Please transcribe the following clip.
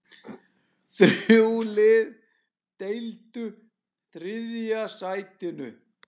Þrjú lið deildu þriðja sætinu.